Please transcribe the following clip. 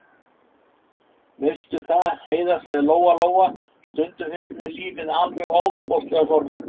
Veistu það, Heiða, sagði Lóa-Lóa, stundum finnst mér lífið alveg ofboðslega sorglegt.